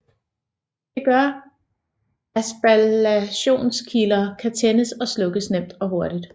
Det gør at spallationskilder kan tændes og slukkes nemt og hurtigt